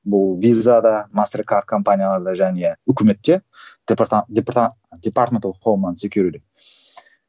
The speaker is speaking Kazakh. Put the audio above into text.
бұл визада мастер карт компанияларда және үкіметте